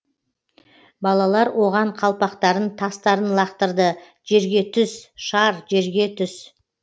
балалар оған қалпақтарын тастарын лақтырды жерге түс шар жерге түс